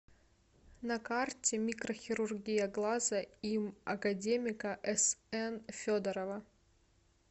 на карте микрохирургия глаза им академика сн федорова